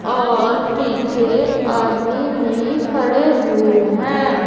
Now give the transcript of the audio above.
और पीछे आदमी भी खड़े हुए हैं।